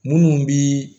Munnu bi